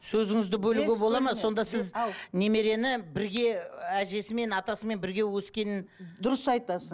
сөзіңізді бөлуге болады ма сонда сіз немерені бірге әжесімен атасымен бірге өскенін дұрыс айтасың